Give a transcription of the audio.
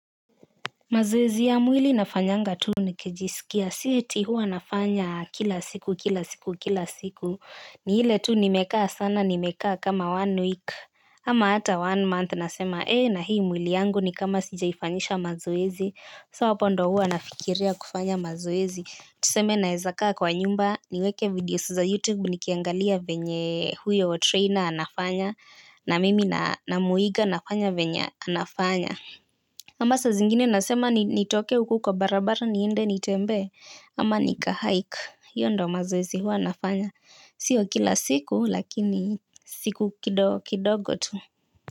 Mazoezi ya mwili nafanyanga tu nikijisikia. Si eti huwa nafanya kila siku kila siku kila siku. Ni ile tu nimekaa sana nimekaa kama one week ama hata one month nasema eh na hii mwili yangu ni kama sijaifanyisha mazoezi. So hapo ndo huwa nafikiria kufanya mazoezi tuseme naeza kaa kwa nyumba niweke videos za YouTube. Nikiangalia venye huyo trainer anafanya. Na mimi namuiga nafanya venye anafanya ama saa zingine nasema nitoke uku kwa barabara niende nitembee. Ama nika hike iyo ndo mazoezi huwa nafanya. Sio kila siku lakini siku kidogo tu.